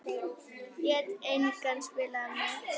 Lét engan spila með sig.